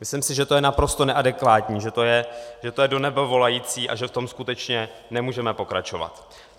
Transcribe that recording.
Myslím si, že to je naprosto neadekvátní, že to je do nebe volající a že v tom skutečně nemůžeme pokračovat.